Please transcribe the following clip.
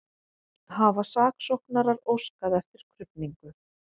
Hafa saksóknarar óskað eftir krufningu